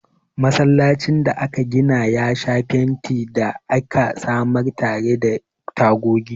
Masallacin da aka gina ya sha fenti da aka samar tare da tagogi.